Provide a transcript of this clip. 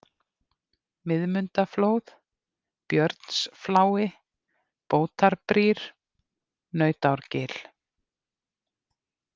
Miðmundaflóð, Björnsflái, Bótarbrýr, Nautárgil